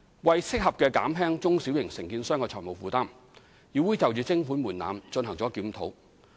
為合適地減輕中小型承建商的財務負擔，議會就徵款門檻進行了檢討。